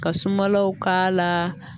Ka sumalaw k'a la